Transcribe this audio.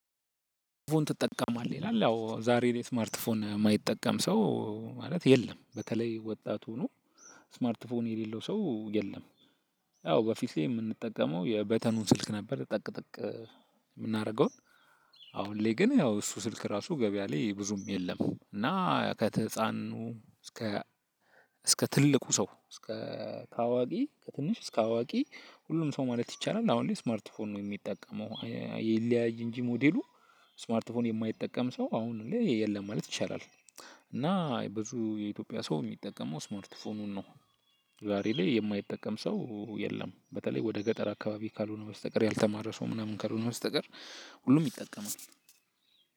ስማርት ፎን ትጠቀማለህ ይላል? አዎ ዛሬ እኔ ስማርት ፎን የማይጠቀም ሰው ማለት የለም በተለይ ወጣት ሆኖ ስማርትፎን የሌለው ሰው የለም። ያው በፊት ላይ የምንጠቀመው የበተኑን ስልክ ነበር ጠቅጠቅ የምናደርገውን። አሁን ላይ ግን ያው እሱ ስልክ ራሱ ገበያ ላይ ብዙም የለም። እና ከትህፃኑ እስከ እስከ ትልቁ ሰው እስከ ከአዋቂ ከትንሽ እስከ አዋቂ ሁሉም ሰው ማለት ይቻላል አሁን ላይ ስማርት ፎን ነው የሚጠቀመው። ይለያይ እንጂ ሞዴሉ። ስማርት ፎን የማይጠቀም ሰው አሁን ላይ የለም ማለት ይቻላል። እና ብዙ የኢትዮጵያ ሰው የሚጠቀመው ስማርት ፎኑን ነው። ዛሬ ላይ የማይጠቀም ሰው የለም በተለይ ወደ ገጠር አካባቢ ካልሆነ በስተቀር ያልተማረ ሰው ምናምን ካልሆነ በስተቀር ሁሉም ይጠቀማል።